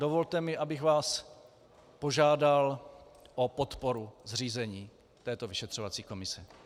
Dovolte mi, abych vás požádal o podporu zřízení této vyšetřovací komise.